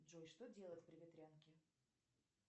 джой что делать при ветрянке